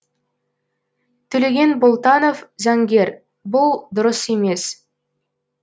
төлеген болтанов заңгер бұл дұрыс емес